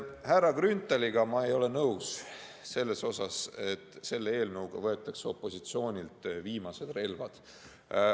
Härra Grünthaliga ma ei ole nõus selles, et kõnealuse eelnõuga võetakse opositsioonilt viimased relvad.